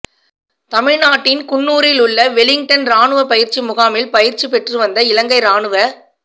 தமிழ்நாட்டின் குன்னூரில் உள்ள வெலிங்டன் இராணுவ பயிற்சி முகாமில் பயிற்சி பெற்றுவந்த இலங்கை இராணுவ